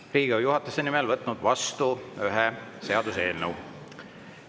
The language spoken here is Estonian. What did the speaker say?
Olen Riigikogu juhatuse nimel võtnud vastu ühe seaduseelnõu.